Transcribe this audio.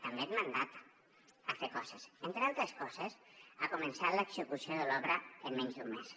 també et mandata fer coses entre altres coses començar l’execució de l’obra en menys d’un mes